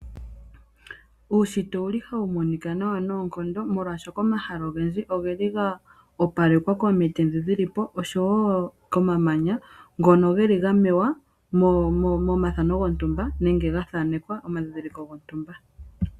Uunshitwe owuli hawu monika nawa noonkondo molwaashoka omahala ogendji ogeli ga opalekwa komiti ndhi dhili po osho wo komamanya ngono geli ga mewa momathano gontumba nenge ga thanekwa omandhindhiliko gontumba.